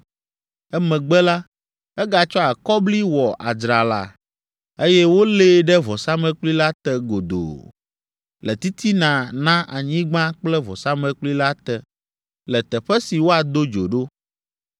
Emegbe la, egatsɔ akɔbli wɔ adzrala, eye wòlée ɖe vɔsamlekpui la te godoo, le titina na anyigba kple vɔsamlekpui la te, le teƒe si woado dzo ɖo.